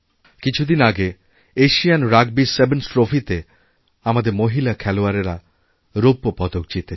কিছু দিন আগে এশিয়ান রাগবিসেভেনস ট্রফিতে আমাদের মহিলা খেলোয়াড়েরা রৌপ্য পদক জিতেছে